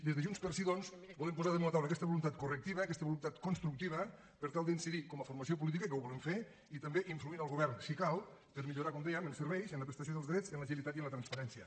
des de junts pel sí doncs volem posar damunt la taula aquesta voluntat correctiva aquesta voluntat constructiva per tal d’incidir com a formació política que ho volem fer i també influir en el govern si cal per millorar com dèiem en serveis en la prestació dels drets en l’agilitat i en la transparència